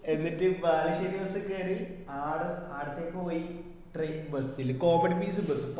എന്നിട്ട് ബാലുശ്ശേരി bus കേറി ആടുന്നു ആടത്തെക്ക് പോയി ട്ര bus ല് comedy piece ണ്ട്